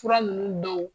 Fura ninnu dɔw